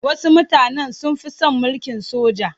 Wasu mutanen sun fi son mulkin soja.